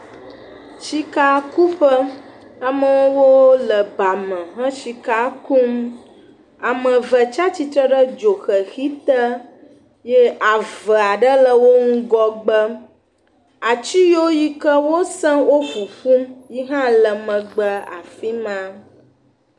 Sikakuƒe amewo le ba me he sika kum. Ame ve tsia tsitre ɖe dzoxexi te ye ave aɖe le wo ŋgɔgbe. Atsi yio yike wosẽ wo ƒuƒum yihã le megbe afi ma.